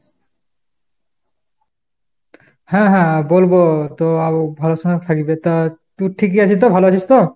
হ্যাঁ হ্যাঁ বলবো তো আউ ভালো থাকবে। তা তুই ঠিকই আছিস তো ভালো আছিস তো ?